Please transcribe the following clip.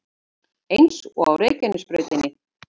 Eins og á Reykjanesbrautinni